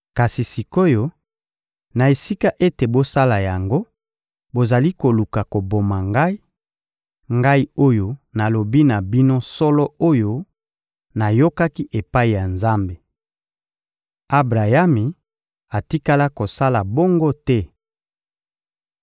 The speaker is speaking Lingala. Kasi sik’oyo, na esika ete bosala yango, bozali koluka koboma Ngai, Ngai oyo nalobi na bino solo oyo nayokaki epai ya Nzambe! Abrayami atikala kosala bongo te.